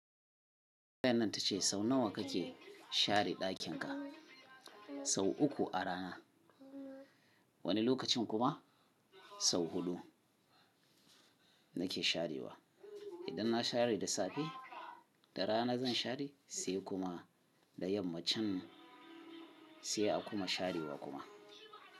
Fayan nan ta ce sau nawa ka ke share ɗakin ka? Sau uku a rana, wani lokacin kuma sau huɗu nake sharewa. Idan na share da safe, da rana zan share sai kuma da yamma can sai a kuma sharewa kuma.